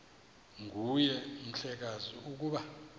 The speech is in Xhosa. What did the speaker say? nguwe mhlekazi ukuba